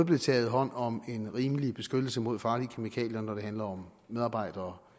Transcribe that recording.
blev taget hånd om en rimelig beskyttelse mod farlige kemikalier når det handlede om medarbejdere